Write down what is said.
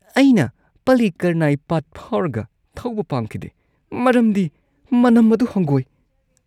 ꯑꯩꯅ ꯄꯜꯂꯤꯀꯔꯅꯥꯏ ꯄꯥꯠ ꯐꯥꯎꯔꯒ ꯊꯧꯕ ꯄꯥꯝꯈꯤꯗꯦ ꯃꯔꯝꯗꯤ ꯃꯅꯝ ꯑꯗꯨ ꯍꯪꯒꯣꯏ꯫